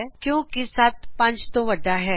ਕਿਉਕਿ 7 5 ਤੋ ਵੰਡਾ ਹੈ